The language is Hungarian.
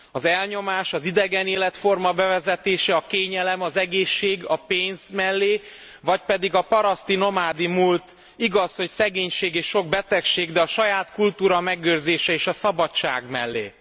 Az elnyomás, az idegen életforma bevezetése, a kényelem, az egészség, a pénz mellé vagy pedig a paraszti, nomádi múlt, igaz, hogy szegénység és sok betegség, de a saját kultúra megőrzése és a szabadság mellé?